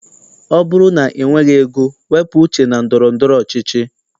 Ọ bụrụ na i nweghị ego, wepụ uche na ndọrọndọrọ ọchịchị.